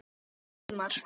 Það voru góðir tímar.